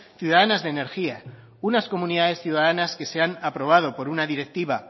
ciudadanas de energía unas comunidades ciudadanas que se han aprobado por una directiva